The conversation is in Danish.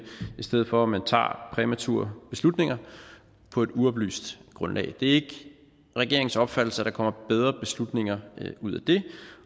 i stedet for at man tager præmature beslutninger på et uoplyst grundlag det er ikke regeringens opfattelse at der kommer bedre beslutninger ud af det